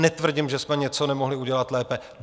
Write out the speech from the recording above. Netvrdím, že jsme něco nemohli udělat lépe.